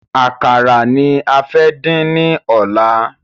Àkàrà ni a fẹ́ din ni ọ̀la